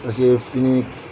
Paseke fini